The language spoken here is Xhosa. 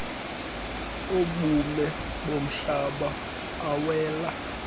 obume bomhlaba awela